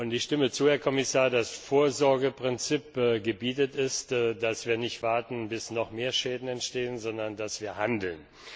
Ich stimme zu, Herr Kommissar, das Vorsorgeprinzip gebietet es, dass wir nicht warten, bis noch mehr Schäden entstehen, sondern dass wir handeln.